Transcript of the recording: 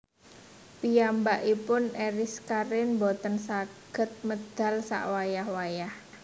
Piyambakipun Eriska Rein mboten saget medal sak wayah wayah